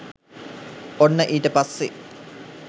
ඔන්න ඊට පස්සෙ